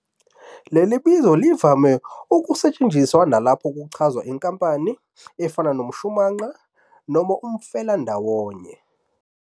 Leli bizo livame ukusetshenziswa nalapho kuchazwa inkampani, efana nomshumanqa noma umfelandawonye.